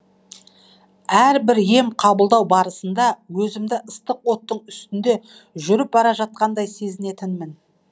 әрбір ем қабылдау барысында өзімді ыстық оттың үстінде жүріп бара жатқандай сезінетінмін